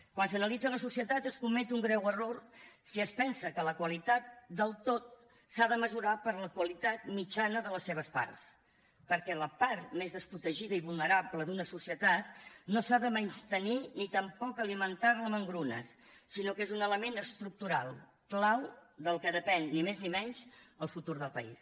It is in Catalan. quan s’analitza la societat es comet un greu error si es pensa que la qualitat del tot s’ha de mesurar per la qualitat mitjana de les seves parts perquè la part més desprotegida i vulnerable d’una societat no s’ha de menystenir ni tampoc alimentar la amb engrunes sinó que és un element estructural clau del qual depèn ni més ni menys el futur del país